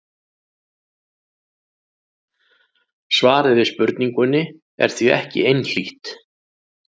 Svarið við spurningunni er því ekki einhlítt.